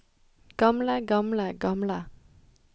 gamle gamle gamle